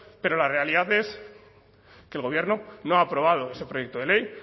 pero la realidad es que el gobierno no ha aprobado ese proyecto de ley